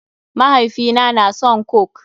Mahaifina na son coke.